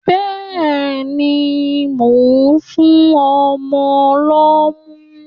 Bẹ́ẹ̀ni, mò ń fún ọmọ lọ́mú.